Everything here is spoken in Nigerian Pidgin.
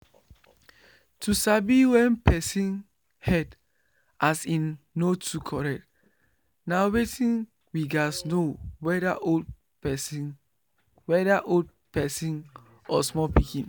to sabi when person head as in no too correct na weyth we gats know weda old person weda old person or small pikin